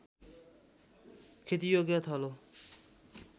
खेतीयोग्य थलो